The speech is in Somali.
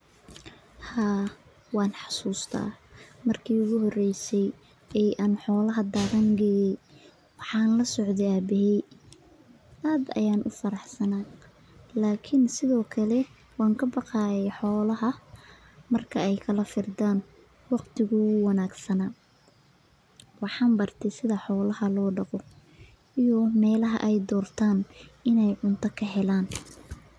Haa waan xasuusta marki iigu horeyse aan xoolaha daaqin geeyo, waxaan lasocde aabahey aad ayaan ufaraxsanaay, lakin sido kale waan kabaqaaye xoolaha si aay kala firdaan, waqtiga wuu wanagsanaa, waxaan barte sida xoolaha loo daqdo, iyo meelaha aay doortan inaay cunta ka helaan.